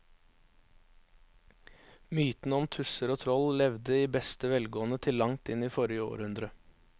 Mytene om tusser og troll levde i beste velgående til langt inn i forrige århundre.